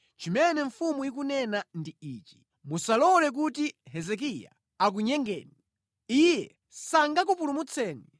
Zimene mfumu ikunena ndi izi: Musalole kuti Hezekiya akunamizeni. Iye sangakupulumutseni!